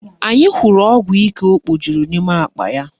Anyị hụrụ ọgwụ ike o kpojuru n'akpa ya